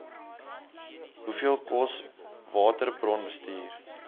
hoeveel kos waterbronbestuur